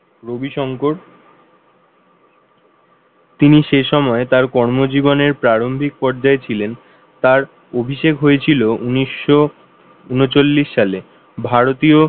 রবি শংকর তিনি সে সময় তাঁর কর্মজীবনের প্রারম্ভিক পর্যায়ে ছিলেন তার অভিষেক হয়েছিল উনিশশো ঊনচল্লিশ সাল ভারতীয়,